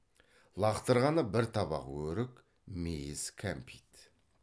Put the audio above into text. лақтырғаны бір табақ өрік мейіз кәмпит